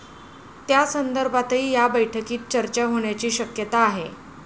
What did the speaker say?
त्यासंदर्भातही या बैठकीत चर्चा होण्याची शक्यता आहे.